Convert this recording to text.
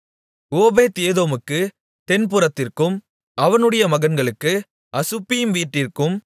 ஓபேத்ஏதோமுக்குத் தென்புறத்திற்கும் அவனுடைய மகன்களுக்கு அசுப்பீம் வீட்டிற்கும்